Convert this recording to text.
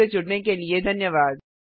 हमसे जुड़ने के लिए धन्यवाद